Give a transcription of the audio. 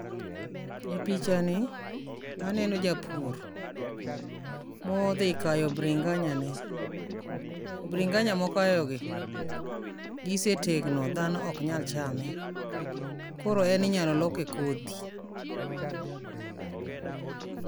E picha ni, aneno japur modhi kayo bringanyane, Bringanya mokayogi gisetegno dhano oknyal chame koro en inyalo loke kodhi.